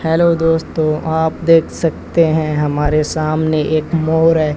Hello दोस्तों आप देख सकते हैं हमारे सामने एक मोर है।